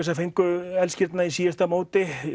sem fengu eldskírnina í síðast móti